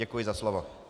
Děkuji za slovo.